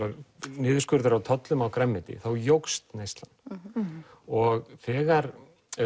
niðurskurður á tollum á grænmeti þá jókst neyslan og þegar